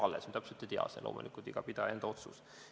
Loomulikult me täpselt ei tea, kuidas siis oleks, see on iga pidaja enda otsus.